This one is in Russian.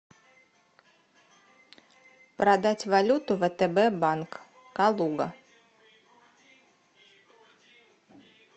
продать валюту втб банк калуга